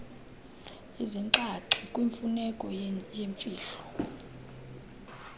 izinxaxhi kwimfuneko yemfihlo